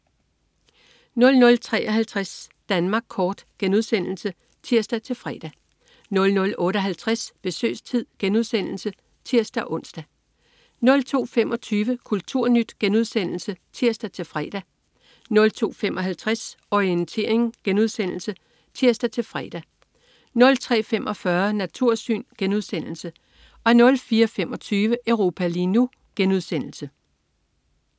00.53 Danmark kort* (tirs-fre) 00.58 Besøgstid* (tirs-ons) 02.25 Kulturnyt* (tirs-fre) 02.55 Orientering* (tirs-fre) 03.45 Natursyn* 04.25 Europa lige nu*